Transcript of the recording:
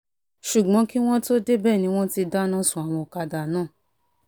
ṣùgbọ́n kí wọ́n tóó débẹ̀ ni wọ́n ti dáná sun àwọn ọ̀kadà náà